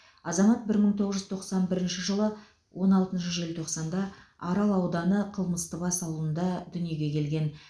азамат бір мың тоғыз жүз тоқсан бірінші жылы он алтыншы желтоқсанда арал ауданы қымыстыбас ауылында дүниеге келген